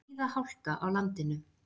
Víða hálka á landinu